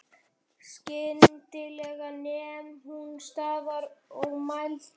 Skyndilega nam hún staðar og mælti